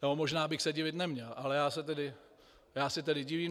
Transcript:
Nebo možná bych se divit neměl, ale já se tedy divím.